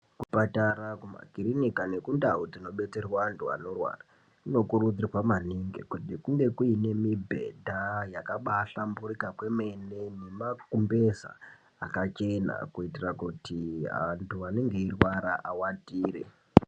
Kuzvipatara kumakirinika nekundau dzinobetserwa antu anorwara dzinokurudzirwa maningi kuti kunge kune mùbhdha yakabahlamburika kwemene nemakumbeza akachena kuitira kuti antu anenge eirwara awatire.